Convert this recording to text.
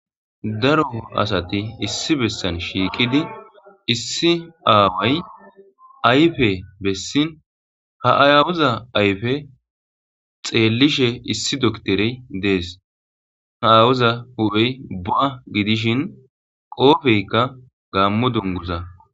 Daro asati issi bessan shiiqidi issi aaway ayfe bessin ha ayaawoza ayfe xeellishe issi dokterey dees ha awoza hu7hey ba gidishin qoofeykka gaammo dongurza.